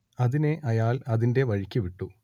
അതിനെ അയാൾ അതിന്റെ വഴിക്ക് വിട്ടു